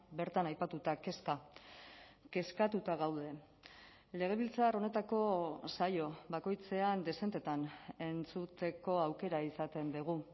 bertan aipatuta kezka kezkatuta gaude legebiltzar honetako saio bakoitzean dezentetan entzuteko aukera izaten dugu